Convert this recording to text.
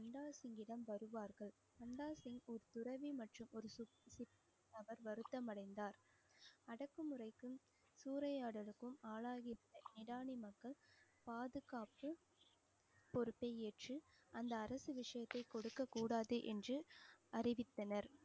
அவர் வருத்தம் அடைந்தார் அடக்குமுறைக்கும், சூறையாடலுக்கும் ஆளாகி மக்கள் பாதுகாப்பு பொறுப்பை ஏற்று அந்த அரசு விஷயத்தை கொடுக்கக் கூடாது என்று அறிவித்தனர்